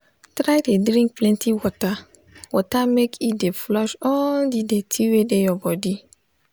try they drink plenty water water make e dey flush all the dirty wey dey your body